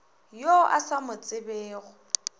yo o sa mo tsebego